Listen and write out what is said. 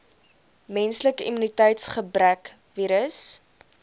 menslike immuniteitsgebrekvirus